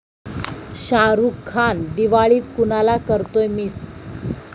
शाहरुख खान दिवाळीत कुणाला करतोय मिस?